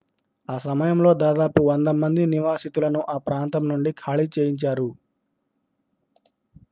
ఆ సమయంలో దాదాపు 100 మంది నివాసితులను ఆ ప్రాంతం నుండి ఖాళీ చేయించారు